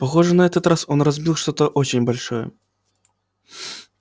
похоже на этот раз он разбил что-то очень большое